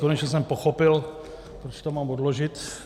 Konečně jsem pochopil, proč to mám odložit.